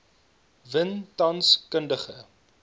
win tans kundige